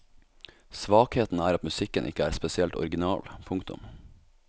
Svakheten er at musikken ikke er spesielt original. punktum